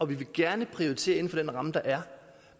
vil gerne prioritere inden for den ramme der er